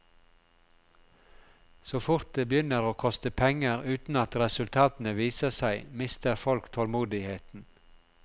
Så fort det begynner å koste penger uten at resultatene viser seg, mister folk tålmodigheten.